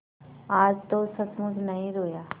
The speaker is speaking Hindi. आज तो सचमुच नहीं रोया